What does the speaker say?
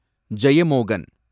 Jeyamohan